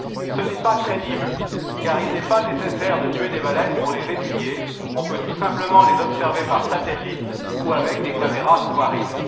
Ce n'est pas crédible, car il n'est pas nécessaire de tuer des baleines pour les étudier, on peut tout simplement les observer par satellite ou avec des caméras sous marines.